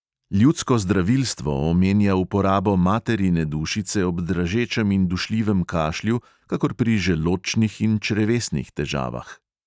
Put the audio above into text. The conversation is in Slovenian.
Ljudsko zdravilstvo omenja uporabo materine dušice ob dražečem in dušljivem kašlju kakor pri želodčnih in črevesnih težavah.